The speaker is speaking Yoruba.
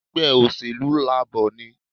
Ègbé òṣèlú Labor ni